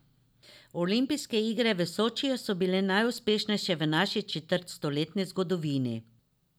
Olimpijske igre v Sočiju so bile najuspešnejše v naši četrtstoletni zgodovini.